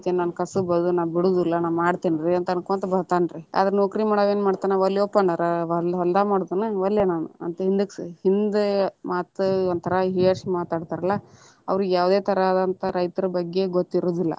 ನನ್ನ ಕಸಬ ಅದ ನಾ ಬಿಡುದಿಲ್ಲಾ ನಾ ಮಾಡ್ತೇನಿ ರೀ ಅಂತ ಅನ್ಕೊಂತ ಬರ್ತಾನರೀ, ಆದರ ನೌಕರಿ ಮಾಡವ ಏನ ಮಾಡ್ತಾನ ನಾ ವಲ್ಲ್ಯೊಪ ನಾ ಬಂದ ಹೊಲದಾಗ ಮಾಡುದ ಏನ್ ವಲ್ಲೆನಾ ಹಿಂದಕ್ಕ್ ಹಿಂದ ಮಾತ ಒಂದ ತರಾ ಹೀಯಾಳಿಸಿ ಮಾತಾಡ್ತಾರಲ, ಅವ್ರಿಗೆ ಯಾವದೆ ತರಹದಂತಾದ ರೈತರ ಬಗ್ಗೆ ಗೊತ್ತಿರುದಿಲ್ಲಾ.